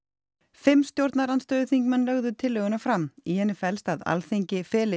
fimm stjórnarandstöðuþingmenn lögðu tillöguna fram í henni felst að Alþingi feli